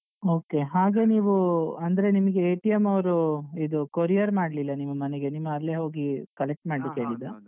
Okay ಹಾಗೆ ನೀವೂ ಅಂದ್ರೆ ನಿಮ್ಗೆ ಅವ್ರೂ ಇದು courier ಮಾಡ್ಲಿಲ್ಲ ನಿಮ್ಮ ಮನೆಗೆ ನಿಮ್ಮ ಅಲ್ಲಿಯೆ ಹೋಗಿ collect ಮಾಡ್ಲಿಕ್ಕೆ ಹೇಳಿದ್ದಾ?